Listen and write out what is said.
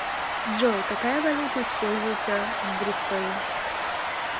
джой какая валюта используется в бристоле